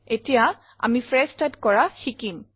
এতিয়া আমি phrase type কৰা শিকিম